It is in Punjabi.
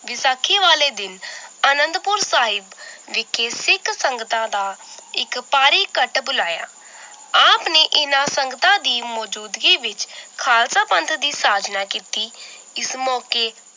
ਬੈਸਾਖੀ ਵਾਲੇ ਦਿਨ ਅਨੰਦਪੁਰ ਸਾਹਿਬ ਵਿਖੇ ਸਿੱਖ ਸੰਗਤਾਂ ਦਾ ਇੱਕ ਭਾਰੀ ਘੱਟ ਬੁਲਾਇਆ l ਆਪ ਨੇ ਇਹਨਾਂ ਸੰਗਤਾਂ ਦੀ ਮੌਜੂਦਗੀ ਵਿਚ ਖਾਲਸਾ ਪੰਥ ਦੀ ਸਾਜਨਾ ਕੀਤੀ l ਇਸ ਮੌਕੇ